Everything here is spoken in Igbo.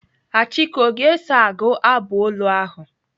Achike ọ ga-eso agụ abụ olu ahụ?